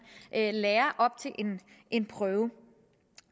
lærer op til en prøve